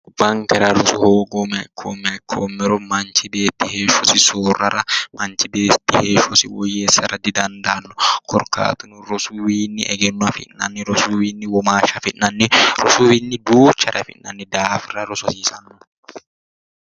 Gobbankera rosu hoogoommeha ikkoommero manchi beetti heeshshosi soorrara didandaanno korkaatuno rosuywiinni egenno afi'nanni rosu wiinni womaashsha afi'nanni rosu wiinni duuchars afi'nanni daafira rosu hasiisanno